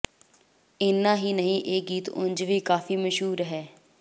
ਇਨ੍ਹਾਂ ਹੀ ਨਹੀਂ ਇਹ ਗੀਤ ਉਂਝ ਵੀ ਕਾਫੀ ਮਸ਼ਹੂਰ ਹੈ